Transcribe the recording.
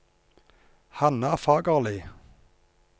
Hanna Fagerli